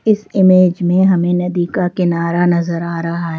इस इमेज में हमें नदी का किनारा नजर आ रहा है।